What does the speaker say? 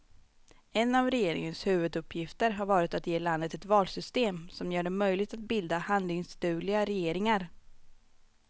En av regeringens huvuduppgifter har varit att ge landet ett valsystem som gör det möjligt att bilda handlingsdugliga regeringar.